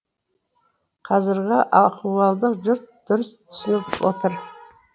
қазіргі ахуалды жұрт дұрыс түсініп отыр